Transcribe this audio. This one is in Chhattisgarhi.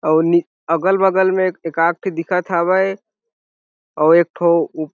अउ नि अगल-बगल में एक एका आद ठो दिखत हवे अउ एक ठो --